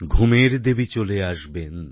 ঘুমের দেবী চলে আসবেন